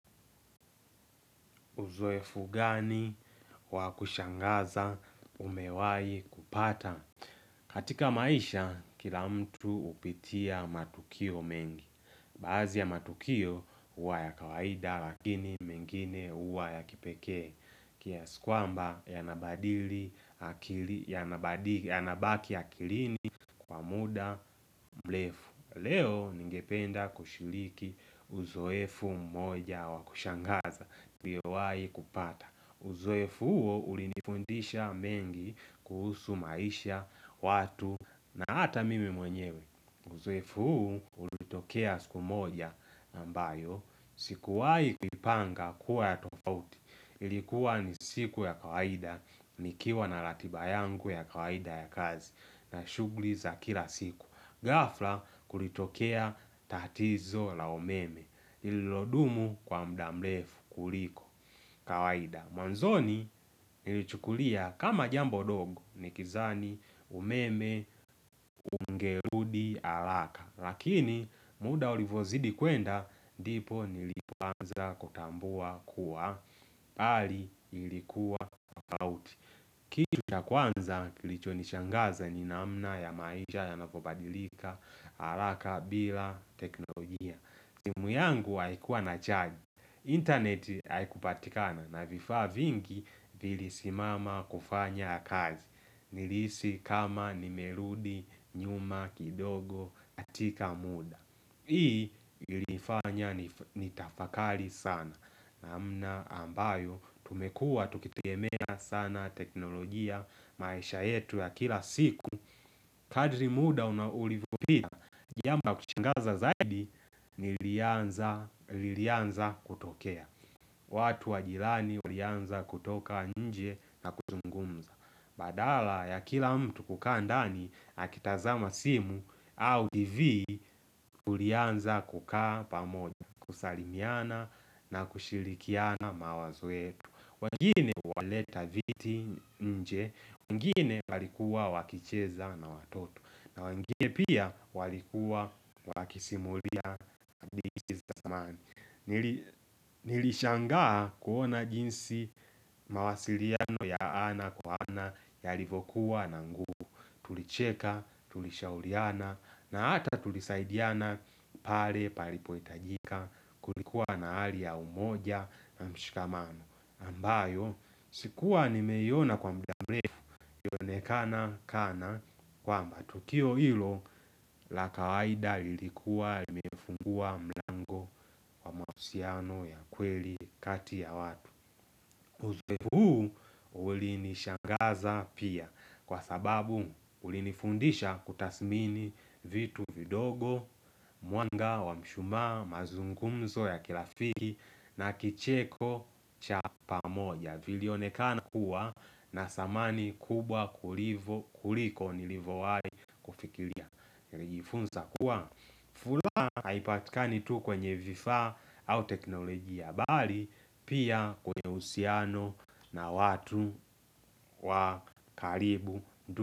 Uzoefu gani wakushangaza umewai kupata? Katika maisha, kila mtu upitia matukio mengi. Baadhi ya matukio huwa ya kawaida lakini mengine huwa ya kipeke. Kiasi kwamba yanabaki akilini kwa muda mrefu. Leo ningependa kushiriki uzoefu mmoja wakushangaza. Uzoefu huo ulinifundisha mengi kuhusu maisha, watu na hata mimi mwenyewe Uzoefu huu ulitokea siku moja ambayo sikuwahi kupanga kuwa ya tofauti Ilikuwa ni siku ya kawaida, nikiwa na ratiba yangu ya kawaida ya kazi na shughuli za kila siku ghafla kulitokea tatizo la umeme lililodumu kwa muda mrefu kuliko kawaida Mwanzoni nilichukulia kama jambo dogo Nikidhani umeme ungerudi haraka Lakini muda ulivyozidi kwenda ndipo nilipoanza kutambua kuwa hali ilikuwa tofauti Kitu cha kwanza kilichonishangaza ni namna ya maisha yanavyobadilika haraka bila teknolojia simu yangu haikuwa inacharge internet haikupatikana na vifaa vingi vilisimama kufanya kazi Nilihisi kama nimerudi, nyuma, kidogo, katika muda Hii ilifanya nitafakari sana namna ambayo tumekua tukitegemea sana teknolojia maisha yetu ya kila siku Kadri muda ulivyopita Jambo la kushangaza zaidi nililianza kutokea watu wa jirani walianza kutoka nje na kuzungumza Badala ya kila mtu kukaa ndani akitazama simu au tv tulianza kukaa pamoja kusalimiana na kushirikiana mawazo yetu wengine walileta viti nje, wengine walikuwa wakicheza na watoto na wengine pia walikuwa wakisimulia hadithi za zamani Nilishangaa kuona jinsi mawasiliano ya ana kwa ana Yalivyokuwa na nguvu tulicheka tulishauriana na hata tulisaidiana pale palipoitajika Kulikuwa na hali ya umoja na mshikamano ambayo sikuwa nimeiona kwa muda mrefu yaonekana kwamba tukio hilo, la kawaida lilikuwa limefungua mlango wa mahusiano ya kweli kati ya watu. Uzoefu huu uli nishangaza pia kwa sababu uli nifundisha kutasmini vitu vidogo, mwanga wa mshumaa, mazungumzo ya kilafiki na kicheko cha pamoja. Vili onekana kuwa na samani kubwa kuliko nilivowai kufikiria. Fulaha haipatikani tu kwenye vifaa au teknologia ya bali Pia kwenye uhusiano na watu wa karibu.